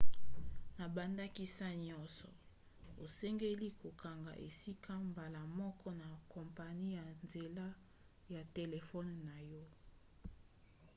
na bandakisa nyonso osengeli kokanga esika mbala moko na kompani na nzela ya telefone na yo